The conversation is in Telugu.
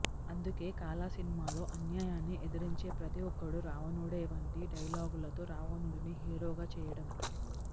అందుకే కాలా సినిమాలో అన్యాయాన్ని ఎదిరించే ప్రతి ఒక్కడు రావణుడే వంటి డైలాగులతో రావణుడిని హీరోగా చేయడం